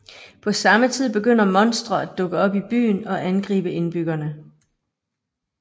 På samme tid begynder monstre at dukke op i byen og angribe indbyggerne